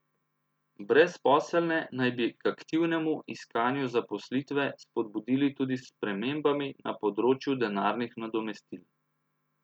Brezposelne naj bi k aktivnemu iskanju zaposlitve spodbudili tudi s spremembami na področju denarnih nadomestil.